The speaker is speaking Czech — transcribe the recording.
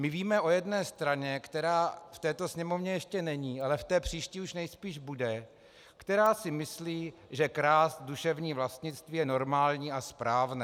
My víme o jedné straně, která v této Sněmovně ještě není, ale v té příští už nejspíš bude, která si myslí, že krást duševní vlastnictví je normální a správné.